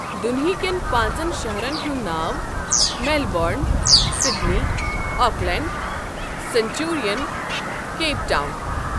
دُنۍہیٖکٮ۪ن پا نٛژَن شہرَن ہُند ناو Melbourne, Sydney, Auckland, Centurion, Cape Town.